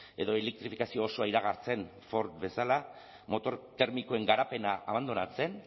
edo elektrifikazio osoa iragartzen ford bezala motor termikoen garapena abandonatzen